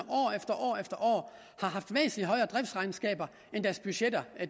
har haft væsentlig højere driftsregnskaber end deres budgetter har